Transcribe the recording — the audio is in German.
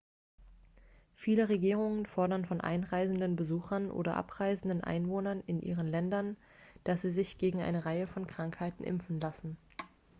viele regierungen fordern von einreisenden besuchern oder abreisenden einwohnern in ihren ländern dass sie sich gegen eine reihe von krankheiten impfen lassen